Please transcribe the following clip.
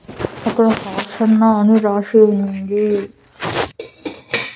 అక్కడ అన్న అని రాసి ఉంది.